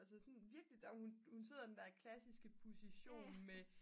altså sådan virkelig hun sidder i sådan den klassiske position med